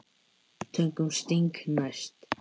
Tökum Sting næst.